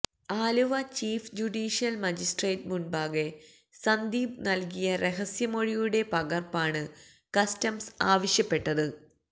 Aluva chief judicial magistrate മുന്പാകെ സന്ദീപ് നല്കിയ രഹസ്യമൊഴിയുടെ പകര്പ്പാണ് കസ്റ്റംസ് ആവശ്യപ്പെട്ടത്